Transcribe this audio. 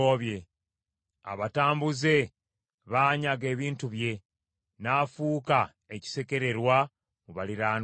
Abatambuze baanyaga ebintu bye; n’afuuka ekisekererwa mu baliraanwa be.